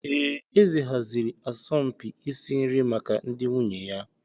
Ee, eze haziri asọmpi isi nri maka ndị nwunye ya.